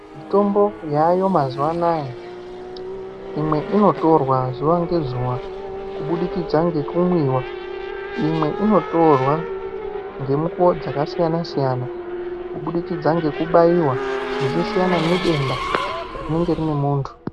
Mitombo yaayo mazuwa anaya imwe inotorwa zuwa ngezuwa kubudikidza ngekumwiwa imwe inotorwa ngemikuwo dzakasiyana siyana zvichisiyana ngededa rinenge rine munthu.